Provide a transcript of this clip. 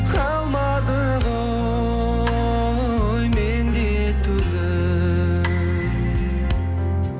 қалмады ғой менде төзім